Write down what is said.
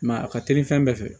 a ka teli fɛn bɛɛ fɛ